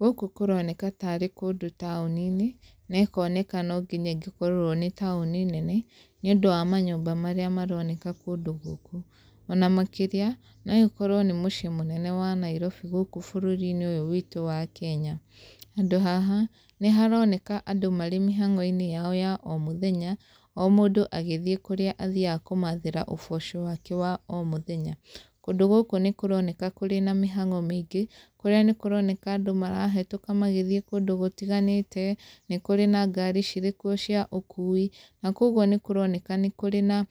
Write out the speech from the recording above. Gũkũ kũroneka tarĩ kũndũ taũni-inĩ, na ĩkoneka no nginya ĩngĩkorwo nĩ taũni nene, nĩ ũndũ wa manyũmba marĩa maroneka kũndũ gũkũ. Ona makĩria, no ĩkorwo nĩ mũciĩ mũnene wa Nairobi gũkũ bũrũri-inĩ ũyũ witũ wa Kenya. Handũ haha, nĩ haroneka andũ marĩ mĩhang'o-inĩ yao ya o mũthenya, o mũndũ agĩthiĩ kũrĩa athiaga kũmathĩra ũboco wake wa o mũthenya. Kũndũ gũkũ nĩ kũroneka kũrĩ na mĩhang'o mĩingĩ, kũrĩa nĩ kũroneka andũ marahetũka magĩthiĩ kũndũ gũtiganĩte, nĩ kũrĩ na ngari cirĩ kuo cia ũkuui. Na kũguo nĩ kũroneka nĩ kũrĩ na